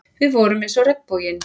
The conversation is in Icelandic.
Við vorum eins og regnboginn.